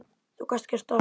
Þú gast gert allt.